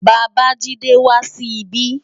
Babajide, wá si bi